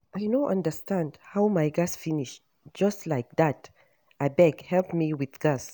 I no understand how my gas finish just like dat, abeg help me with gas